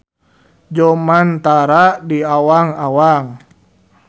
Jomantara di awang-awang.